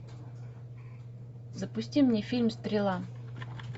запусти мне фильм стрела